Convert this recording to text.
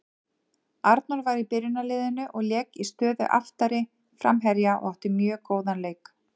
Arnór var í byrjunarliðinu og lék í stöðu aftari framherja og átti mjög góðan leik.